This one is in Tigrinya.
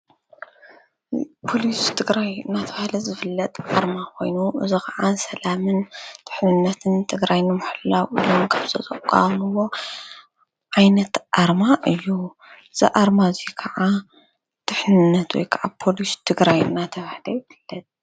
ፖሊስ ትግራይ እናተብሃለ ዝፍለጥ ኣርማ ኮይኑ እዚ ከዓ ሰላምን ድሕንነትን ትግራይ ንምሕላው ኢሎም ካብ ዘቋቖምዎ ዓይነት ኣርማ እዩ። እዚ ኣርማ እዚ ከዓ ድሕንነት ወይ ከዓ ፖሊስ ትግራይ እናተብሃለ ይፍለጥ።